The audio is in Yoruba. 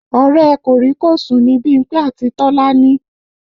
Ọ̀rẹ́ ẹ̀ kòríkòsùn ni Bímpé àti Tọ́lání